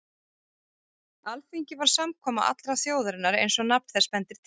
Alþingi var samkoma allrar þjóðarinnar eins og nafn þess bendir til.